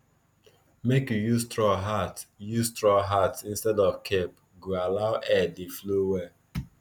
make you use straw hat use straw hat instead of cape go allow air dey flow well